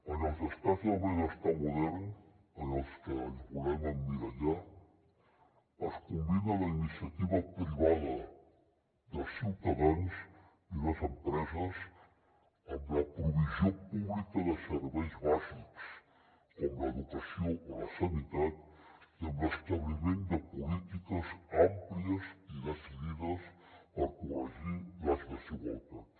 en els estats del benestar modern en els que ens volem emmirallar es combina la iniciativa privada dels ciutadans i les empreses amb la provisió pública de serveis bàsics com l’educació o la sanitat i amb l’establiment de polítiques àmplies i decidides per corregir les desigualtats